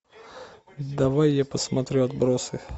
давай я посмотрю отбросы